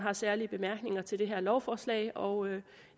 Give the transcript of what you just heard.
er særlige bemærkninger til det her lovforslag og